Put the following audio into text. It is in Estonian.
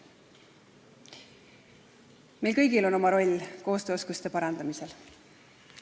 Meil kõigil on oma roll koostööoskuste parandamisel.